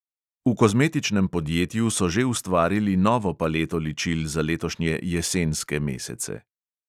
V kozmetičnem podjetju so že ustvarili novo paleto ličil za letošnje jesenske mesece.